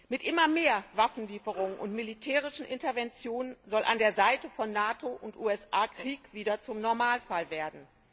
Mit immer mehr Waffenlieferungen und militärischen Interventionen soll an der Seite von NATO und USA Krieg wieder zum Normalfall werden.